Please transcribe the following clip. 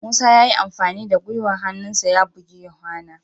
Musa ya yi amfani da gwiwar hannunsa ya buji yohana.